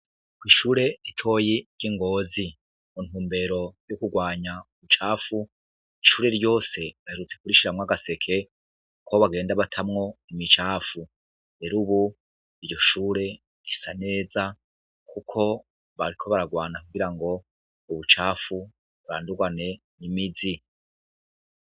Ko'ishure etoyi ry'ingozi mu ntumbero y'ukurwanya ubucafu ishure ryose baherutse kurishiramwo agaseke kubo bagenda batamwo imicafu rero, ubu iryo shure isa neza, kuko bariko baragwana kugira ngo ubucafu burandurwane imizi.